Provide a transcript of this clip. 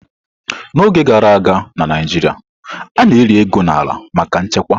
N'oge gara aga na Naijiria, a na-eli ego n'ala maka nchekwa.